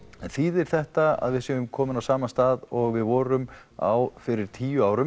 en þýðir þetta að við séum komin á sama stað og við vorum á fyrir tíu árum